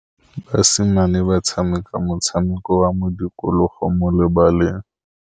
Basimane ba tshameka motshameko wa modikologô mo lebaleng.